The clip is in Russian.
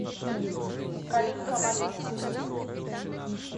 калинка малинка